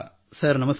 sir ನಮಸ್ಕಾರ